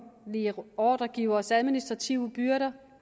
ordregiveres administrative byrder